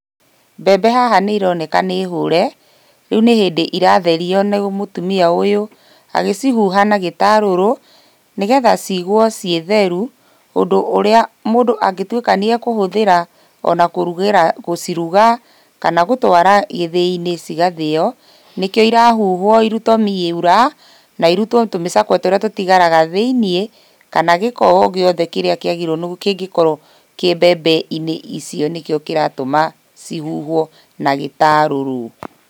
Mbembe haha nĩironeka nĩ hũre, rĩu nĩ hĩndĩ iratherio nĩ mũtumia ũyũ agĩcihuha na gĩtarũrũ nĩgetha ciigwo ciĩ theru, ũndũ ũrĩa mũndũ angĩtuika nĩ akũhũthĩra ona kũrugira gũciruga kana gũtwara gĩthĩinĩ cigathĩo nĩkĩo irahuhwo irutwo miura na irutwo tũmĩcakwe tũrĩa tũtigaraga thĩinĩ, kana gĩko o giothe kĩrĩa kĩagĩrĩirwo kĩngĩkorwo kĩ mbembe-inĩ icio nĩkĩo kĩratũma cihuhwo na gĩtarũrũ.